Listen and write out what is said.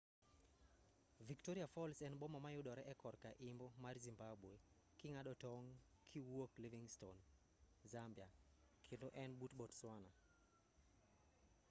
victoria falls en boma ma yudore e korka imbo mar zimbabwe king'ado tong' kiwuok livingstone zambia kendo en but botswana